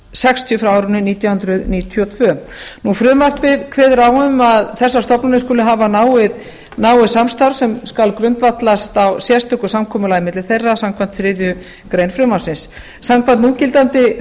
sextíu frá árinu nítján hundruð níutíu og tvö frumvarpið kveður á um að þessar stofnanir skuli hafa náið samstarf sem skal grundvallast á sérstöku samkomulagi á milli þeirra samkvæmt þriðju greinar frumvarpsins samkvæmt núgildandi